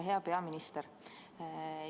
Hea peaminister!